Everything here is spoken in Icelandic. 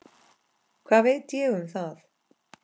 Hvað veit ég um það?